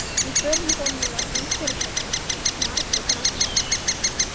Í för með honum var ung fyrirsæta, Margrét að nafni.